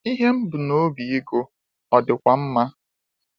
Ihe m mbu nobi ịgụ ọ dịkwa mma.